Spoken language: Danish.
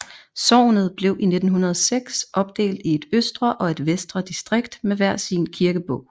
Sognet blev i 1906 opdelt i et østre og et vestre distrikt med hver sin kirkebog